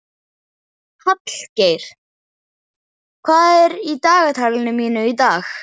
Hallgeir, hvað er í dagatalinu mínu í dag?